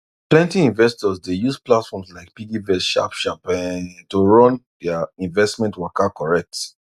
plenty investors dey use platforms like piggyvest sharp sharp um to run their investment waka correct